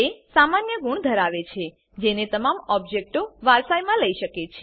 તે સામાન્ય ગુણો ધરાવે છે જેને તમામ ઓબજેક્ટો વારસાઈમાં લઇ શકે છે